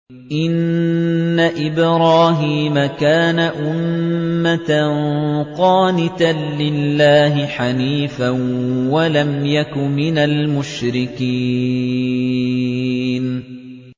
إِنَّ إِبْرَاهِيمَ كَانَ أُمَّةً قَانِتًا لِّلَّهِ حَنِيفًا وَلَمْ يَكُ مِنَ الْمُشْرِكِينَ